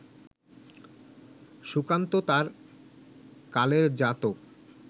সুকান্ত তাঁর কালের জাতক